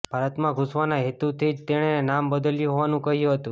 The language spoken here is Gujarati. ભારતમાં ઘૂસવાના હેતુથી જ તેણે નામ બદલ્યું હોવાનું કહ્યું હતું